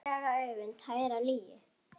Egglaga augun tær af lygi.